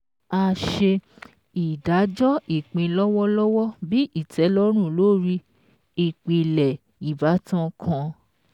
A ṣe ìdájọ́ ìpín lọ́wọ́lọ́wọ́ bí ìtẹ́lọ́rùn lórí ìpìlẹ̀ ìbátan kan